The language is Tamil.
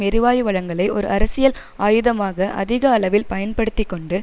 எரிவாயு வளங்களை ஒரு அரசியல் ஆயுதமாக அதிக அளவில் பயன்படுத்தி கொண்டு